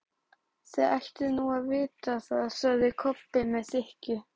Þið ættuð nú að vita það, sagði Kobbi með þykkju.